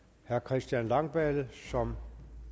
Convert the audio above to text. herre christian langballe som